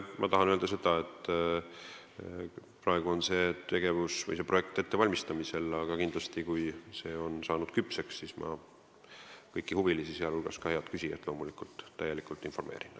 Ma tahan öelda seda, et praegu on see projekt ettevalmistamisel, aga kindlasti, kui see on saanud küpseks, siis ma kõiki huvilisi, sh loomulikult head küsijat, täielikult informeerin.